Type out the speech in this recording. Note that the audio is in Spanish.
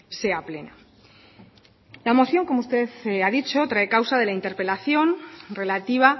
sea plena la moción como usted ha dicho trae causa de la interpelación relativa